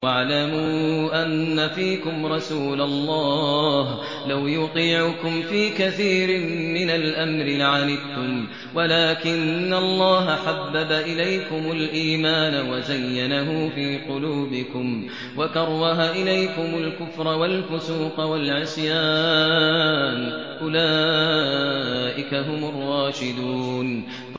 وَاعْلَمُوا أَنَّ فِيكُمْ رَسُولَ اللَّهِ ۚ لَوْ يُطِيعُكُمْ فِي كَثِيرٍ مِّنَ الْأَمْرِ لَعَنِتُّمْ وَلَٰكِنَّ اللَّهَ حَبَّبَ إِلَيْكُمُ الْإِيمَانَ وَزَيَّنَهُ فِي قُلُوبِكُمْ وَكَرَّهَ إِلَيْكُمُ الْكُفْرَ وَالْفُسُوقَ وَالْعِصْيَانَ ۚ أُولَٰئِكَ هُمُ الرَّاشِدُونَ